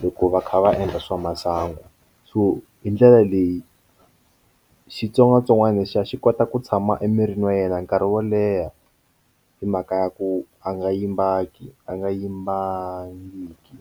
loko va kha va endla swa masangu so hi ndlela leyi xitsongwatsongwana lexiya xi kota ku tshama emirini wa yena nkarhi wo leha hi mhaka ya ku a nga yimbangiki a nga yimbangiki.